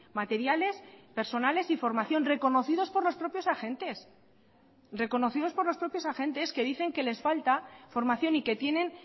materiales personales y formación reconocidos por los propios agentes reconocidos por los propios agentes que dicen que les falta formación y que tienen